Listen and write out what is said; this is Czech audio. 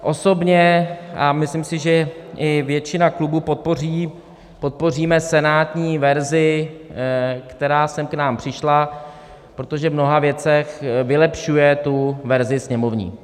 Osobně, a myslím si, že i většina klubů, podpořím senátní verzi, která sem k nám přišla, protože v mnoha věcech vylepšuje tu verzi sněmovní.